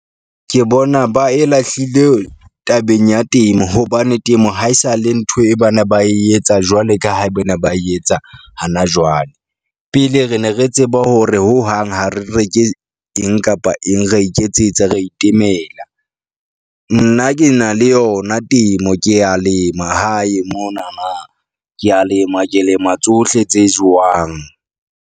Ke bona ba e lahlile tabeng ya temo hobane temo haesale ntho e ba ne ba etsa jwale ka ha e ba ne ba e etsa hana jwale. Pele re ne re tseba hore hohang ha re reke eng kapa eng, ra iketsetsa ra itemela. Nna ke na le yona temo, ke ya lema hae mona na, ke a lema ke lema tsohle tse jowang.